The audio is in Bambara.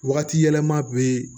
Wagati yɛlɛma be